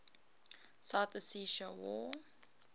south ossetia war